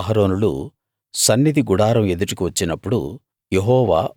మోషే అహరోనులు సన్నిధి గుడారం ఎదుటికి వచ్చినప్పుడు